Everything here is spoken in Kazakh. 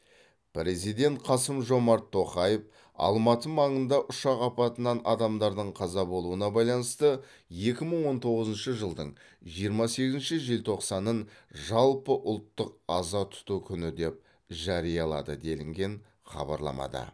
президент қасым жомарт тоқаев алматы маңында ұшақ апатынан адамдардың қаза болуына байланысты екі мың он тоғызыншы жылдың жиырма сегізінші желтоқсанын жалпыұлттық аза тұту күні деп жариялады делінген хабарламада